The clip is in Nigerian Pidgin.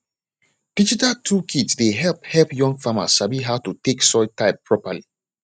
digital tool kit dey help help young farmers sabi how to take soil type properly